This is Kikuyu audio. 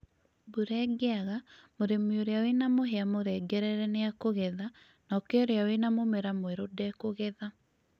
Mbura ĩngĩaga mũrĩmi ũrĩa wĩna mũhĩa mũrengerere nĩekũgetha nake ũrĩa wa mũmera mwerũ ndekũgetha